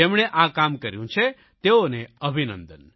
જેમણે આ કામ કર્યું છે તેઓને અભિનંદન